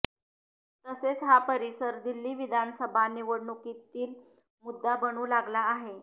तसेच हा परिसर दिल्ली विधानसभा निवडणुकीतील मुद्दा बनू लागला आहे